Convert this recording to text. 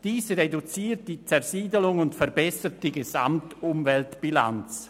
Dies reduziert die Zersiedelung und verbessert die Gesamtumweltbilanz.»